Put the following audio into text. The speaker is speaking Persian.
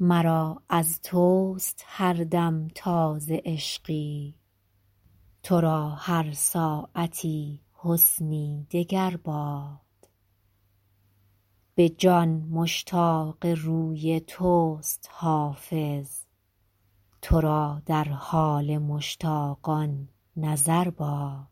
مرا از توست هر دم تازه عشقی تو را هر ساعتی حسنی دگر باد به جان مشتاق روی توست حافظ تو را در حال مشتاقان نظر باد